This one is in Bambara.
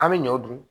An bɛ ɲɔ dun